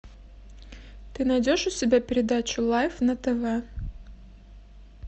ты найдешь у себя передачу лайф на тв